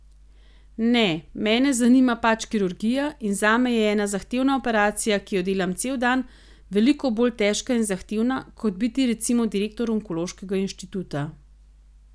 Ne, mene zanima pač kirurgija in zame je ena zahtevna operacija, ki jo delam cel dan, veliko bolj težka in zahtevna, kot biti recimo direktor onkološkega inštituta.